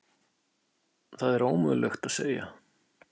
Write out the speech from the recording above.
Það er ómögulegt að segja.